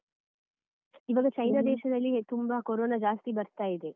ಇವಾಗ ಚೈನಾ ದೇಶದಲ್ಲಿ ತುಂಬಾ ಕೋರೋನಾ ಜಾಸ್ತಿ ಬರ್ತಾ ಇದೆ.